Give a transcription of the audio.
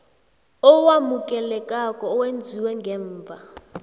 owamukelekako owenziwe ngemva